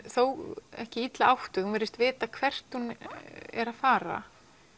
þó ekki illa áttuð hún virðist vita hvert hún er að fara